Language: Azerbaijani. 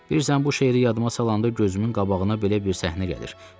Bilirsən, bu şeiri yadıma salanda gözümün qabağına belə bir səhnə gəlir.